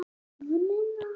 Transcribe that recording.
Ég varð að taka lyfin.